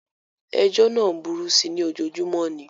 Ejọ́ náà ń burú síi ní ojoojúmọ́ ni.